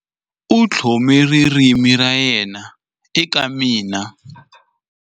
U tlhome ririmi ra yena eka mina.